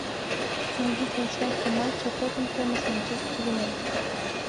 найди трансляцию матча тоттенхэма с манчестер юнайтед